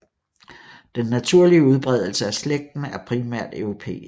Den naturlige udbredelse af slægten er primært europæisk